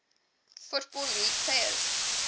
football league players